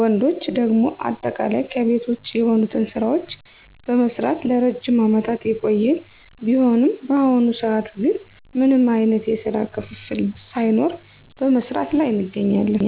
ወንዶች ደግሞ አጠቃላይ ከቤት ውጭ የሆኑትን ስራዎችን በመስራት ለረዥም አመታት የቆየን ቢሆንም፤ በአሁኑ ስዓት ግን ምንም አይነት የስራ ክፍፍል ሳይኖር በመስራት ላይ እንገኛለን።